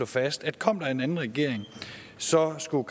fast at kom der en anden regering så skulle